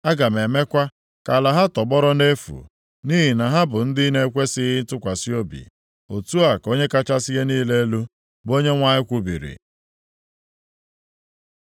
Aga m emekwa ka ala ha tọgbọrọ nʼefu, nʼihi na ha bụ ndị na-ekwesighị ntụkwasị obi. Otu a ka Onye kachasị ihe niile elu, bụ Onyenwe anyị kwubiri.”